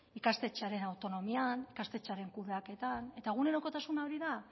ikastetxearen autonomian ikastetxearen kudeaketan eta egunerokotasuna hori da